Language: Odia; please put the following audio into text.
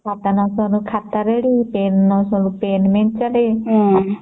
ଖାତା ନ ସରୁ ଖାତା ରେଡି ପେନ ନ ସରୁଣୁ ପେନ ରେଡି